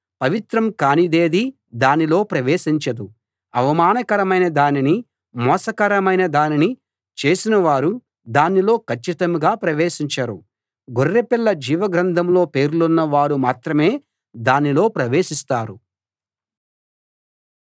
పవిత్రం కానిదేదీ దానిలో ప్రవేశించదు అవమానకరమైన దానినీ మోసకరమైన దానినీ చేసినవారు దానిలో కచ్చితంగా ప్రవేశించరు గొర్రెపిల్ల జీవ గ్రంథంలో పేర్లున్నవారు మాత్రమే దానిలో ప్రవేశిస్తారు